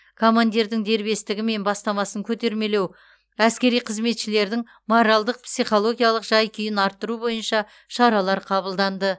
командирдің дербестігі мен бастамасын көтермелеу әскери қызметшілердің моральдық психологиялық жай күйін арттыру бойынша шаралар қабылданды